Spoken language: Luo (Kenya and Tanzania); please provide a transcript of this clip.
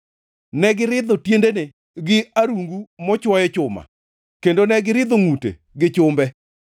Ne giridho tiendene gi arungu mochuoye chuma, kendo ne giridho ngʼute gi chumbe,